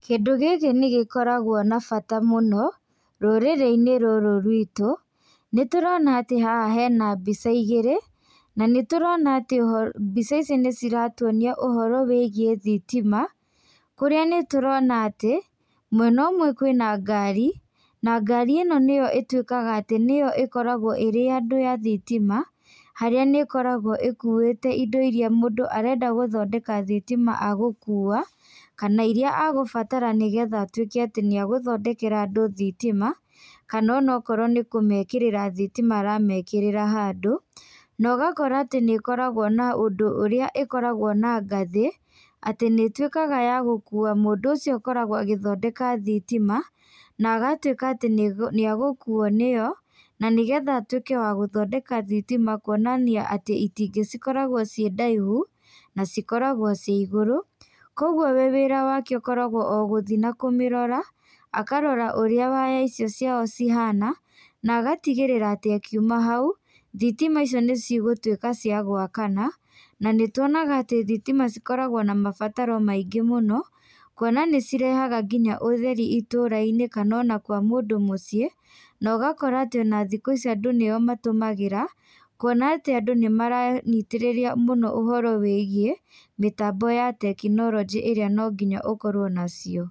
Kĩndũ gĩkĩ nĩ gĩkoragwo na bata mũno, rũrĩrĩ-inĩ rũrũ ruitũ. Nĩ tũrona atĩ haha hena mbica igĩrĩ, na nĩ tũrona atĩ oho, mbica ici nĩ ciratuonia ũhoro wĩgiĩ thitima. Kũrĩa nĩ tũrona atĩ, mwena ũmwe kwĩna ngari, na ngari ĩno nĩyo ĩtuĩkaga atĩ nĩyo ĩkoragwo ĩrĩ ya andũ ya thitima, harĩa nĩ ĩkoragwo ĩkuĩte indo irĩa mũndũ arenda gũthondeka thitima agũkuua, kana irĩa agũbatara nĩgetha atuĩke atĩ nĩ agũthondekera andũ thitima, kana onokorwo nĩ kũmekĩrĩra thitima aramekĩrĩra handũ. Na ũgakora atĩ nĩ ĩkoragwo na ũndũ ũrĩa ĩkoragwo na ngathĩ, atĩ nĩ ĩtuĩkaga ya gũkuua mũndũ ũcio ũkoragwo agĩthondeka thitima, na agatuĩka atĩ nĩ nĩ agũkuuo nĩyo, na nĩgetha atuĩke wa gũthondeka thitima kuonia atĩ itingĩ cikoragwo ciĩ ndaihu, na cikoragwo ci igũrũ. Kũguo we wĩra wake ũkoragwo o gũthi na kũmĩrora, akarora ũrĩa waya icio ciao ciahana, na agatigĩrĩra atĩ akiuma hau, thitima icio nĩ cigũtuĩka cia gwakana. Na nĩ tuonaga atĩ thitima cikoragwo na mabataro maingĩ mũno, kuona nĩ cirehaga nginya ũtheri itũũra-inĩ kana ona kwa mũndũ mũciĩ, na ũgakora atĩ ona thikũ ici andũ nĩo matũmagĩra, kuona atĩ andũ nĩ maranyitĩrĩria mũno ũhoro wĩgiĩ, mĩtambo ya tekinoronjĩ ĩrĩa no nginya ũkorwo na cio.